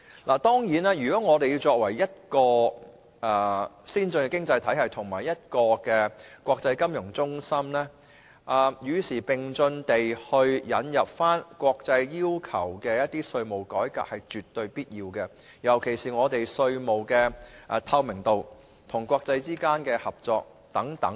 香港作為一個先進經濟體系及國際金融中心，與時並進引入一些國際要求的稅務改革是絕對必要的，尤其是稅務透明度及國際合作等方面。